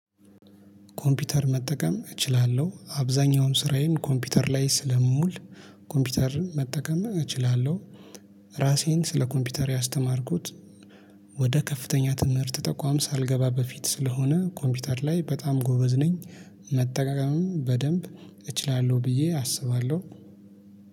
ኮምፒተር መጠቀም እችላለሁ አብዛኛውን ስራዬን ኮምፒውተር ላይ ስለምውል ኮምፒተር መጠቀም እችላለሁ። ራሴን ስለ ኮምፒተር ያስተማርኩት። ወደ ከፍተኛ ትምህርት ተቋም ሳልገባ በፊት ስለሆነ ኮምፒውተር ላይ በጣም ጎበዝ ነኝ። መጠቀምም በደንብ እችላለሁ ብዬ አስባለሁ